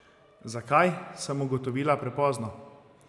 Zakaj, sem ugotovila prepozno.